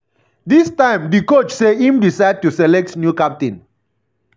dis time di coach say im decide to select new captain.